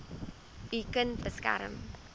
u kind beskerm